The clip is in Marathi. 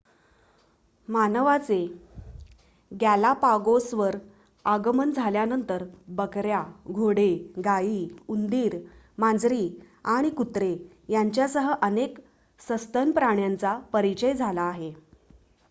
मानवाचे गॅलापागोसवर आगमन झाल्यानंतर बकऱ्या घोडे गायी उंदीर मांजरी आणि कुत्रे यांच्यासह अनेक सस्तन प्राण्यांचा परिचय झाला आहे